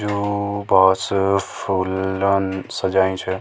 जू बस फुल्लोन सजयीं छे।